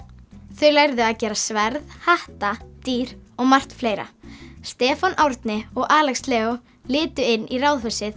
þau lærðu að gera sverð hatta dýr og margt fleira Stefán Árni og Alex Leó litu inn í Ráðhúsið